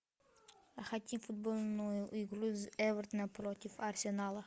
хотим футбольную игру эвертона против арсенала